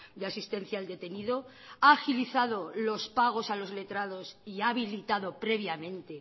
de asistencia al detenido ha agilizado los pagos a los letrados y ha habilitado previamente